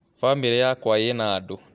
famĩrĩ yakwa ĩna andũ